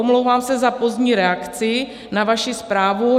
Omlouvám se za pozdní reakci na vaši zprávu.